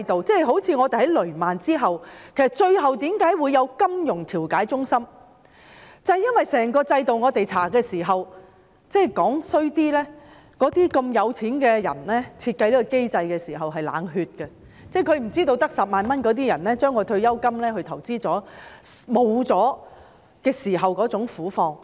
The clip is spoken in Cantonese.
正如政府在雷曼事件後成立了金融調解中心，這是因為我們在調查期間發現，整個制度——說得難聽一點——富裕人士設計這個機制的時候是冷血的，他們不知道只有10萬元的人將退休金用作投資，當他們失去這筆錢時的苦況。